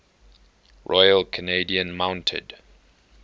royal canadian mounted